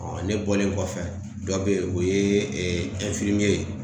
ne bɔlen kɔfɛ, dɔ be yen o ye ye.